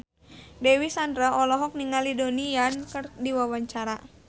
Dewi Sandra olohok ningali Donnie Yan keur diwawancara